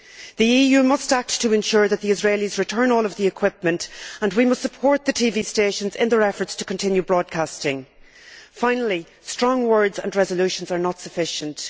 The EU must act to ensure that the Israelis return all of the equipment and we must support the TV stations in their efforts to continue broadcasting. Finally, strong words and resolutions are not sufficient.